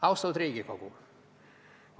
Austatud Riigikogu!